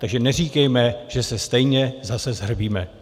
Takže neříkejme, že se stejně zase shrbíme.